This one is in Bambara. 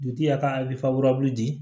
Dutigi y'a ka di